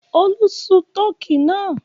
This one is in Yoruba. Olú sun tọkí náà?